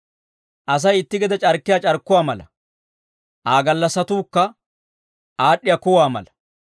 Asay itti gede c'arkkiyaa c'arkkuwaa mala; Aa gallassatukka aad'd'iyaa kuwaa mala.